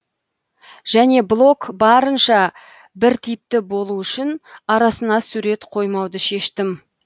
және блог барынша біртипті болу үшін арасына сурет қоймауды шештім